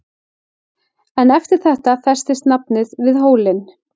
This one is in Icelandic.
En eftir þetta festist nafnið við hólinn.